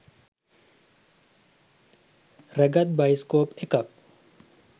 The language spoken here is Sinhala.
රැගත් බයිස්කෝප් එකක්